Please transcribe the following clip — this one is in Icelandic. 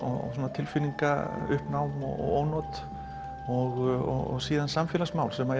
tilfinningauppnám og ónot og svo samfélagsmál sem